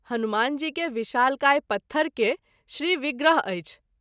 हनुमान जी के विशालकाय पत्थर के श्रीविग्रह अछि।